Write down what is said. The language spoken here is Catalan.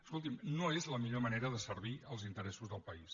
escolti’m no és la millor manera de servir els interessos del país